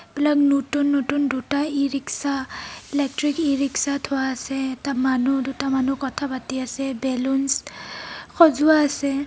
এইবিলাক নতুন নতুন দুটা e rickshaw electric e rickshaw থোৱা আছে. এটা মানুহ দুটা মানুহ কথা পাতি আছে. বেলুনচ সজোৱা আছে.